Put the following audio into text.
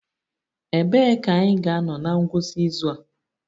Ebee ka anyị ga-anọ na ngwụsị izu a?